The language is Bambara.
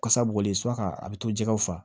Kasa bɔlen suwa ka a bi to jɛgɛw fasa